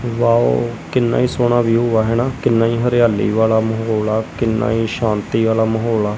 wow ਕਿੰਨਾ ਹੀ ਸੋਹਣਾ ਵਿਊ ਆ ਹਨਾ ਕਿੰਨਾ ਹੀ ਹਰਿਆਲੀ ਵਾਲਾ ਮਾਹੌਲ ਆ ਕਿੰਨਾ ਹੀ ਸ਼ਾਂਤੀ ਵਾਲਾ ਮਾਹੌਲ ਆ--